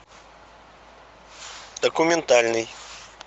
документальный